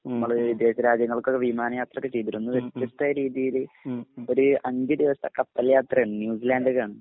നമ്മള് വിദേശ രാജ്യങ്ങൾക്കൊക്കെ വിമാനയാത്രയൊക്കെ ചെയ്തിരുന്നു. വ്യത്യസ്തമായരീതിയില് ഒരു അഞ്ചുദിവസത്തെ കപ്പൽയാത്ര ഉണ്ട്. ന്യൂസിലാൻഡ് കാണാൻ.